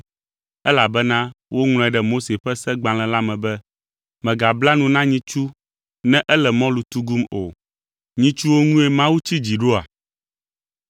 elabena woŋlɔe ɖe Mose ƒe segbalẽ la me be, “Megabla nu na nyitsu ne ele mɔlu tugum o.” Nyitsuwo ŋue Mawu tsi dzi ɖoa?